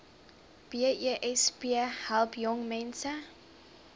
besp help jongmense